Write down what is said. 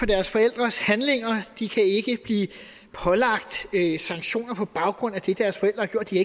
deres forældres handlinger de kan ikke blive pålagt sanktioner på baggrund af det deres forældre har gjort de